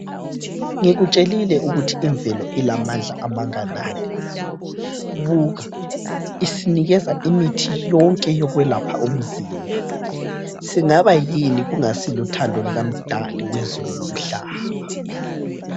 Ngikutshelile ukuthi imvelo ilamandla amanganani. Buka, isinikeza imithi yonke yokwelapha umzimba. Singaba yini kungasiluthando lukaMdali wezulu lomhlaba.